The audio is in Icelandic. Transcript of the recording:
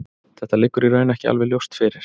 Þetta liggur í raun ekki alveg ljóst fyrir.